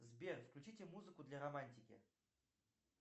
сбер включите музыку для романтики